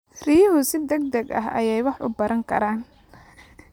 Riyuhu si degdeg ah ayay wax u baran karaan.